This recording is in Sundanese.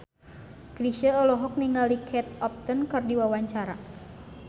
Chrisye olohok ningali Kate Upton keur diwawancara